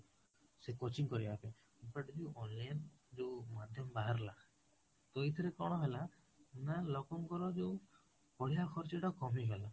ସେ coaching କରିବା ପାଇଁ but ଯୋଉ online ଯୋଉ ମାଧ୍ୟାମ ବାହାରିଲା ତ ଏଇଥିରେ କଣ ହେଲା, ନା ଲୋକଙ୍କର ଯୋଉ ପଢିବା ଖର୍ଚ୍ଚଟା କମି ଗଲା